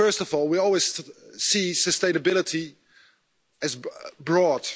First of all, we always see sustainability as broad.